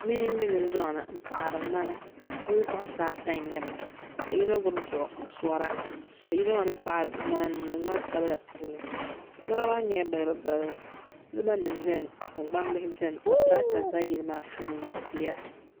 Bihi m be dunduŋni mpaɣari ŋmana bɛ bi'puɣinsi ata n nyɛba ka yino gbibi duɣu n sora ka yino maa mi paɣiri ŋmana n niŋdi ŋmani sabla puuni ŋmana maa nyɛla balibu balibu siliba nima beni ka gbambihi beni ka tirata za yili maa puuni ni tia.